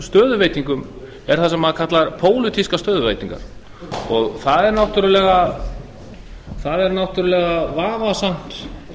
stöðuveitingum er það sem maður kallar pólitískar stöðuveitingar það er náttúrulega vafasamt